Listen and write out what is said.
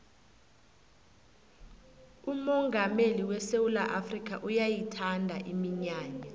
umongameli wesewula afrikha uyayithanda iminyanya